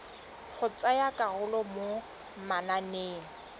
go tsaya karolo mo mananeng